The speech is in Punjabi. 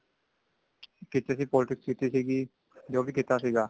ਕੀਤੀ ਸੀ politics ਕੀਤੀ ਸੀਗੀ ਜੋ ਵੀ ਕੀਤਾ ਸੀਗਾ